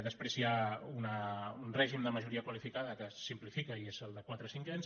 després hi ha un règim de majoria qualificada que es simplifica i és el de quatre cinquens